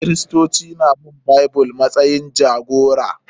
Kiristoci na bin Bible matsayin jagora